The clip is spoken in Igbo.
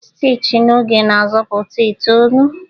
Stichi na oge na-azọpụta itoolu